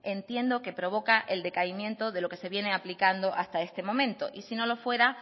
entiendo que provoca el decaimiento de lo que se viene aplicando hasta ese momento y si no lo fuera